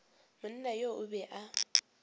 monna yo o be a